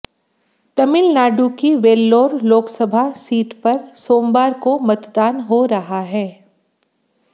तमिलनाडु की वेल्लोर लोकसभा सीट पर सोमवार को मतदान हो रहा है